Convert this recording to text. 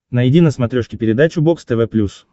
найди на смотрешке передачу бокс тв плюс